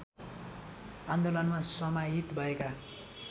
आन्दोलनमा समाहित भएका